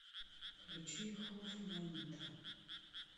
включи хофманнита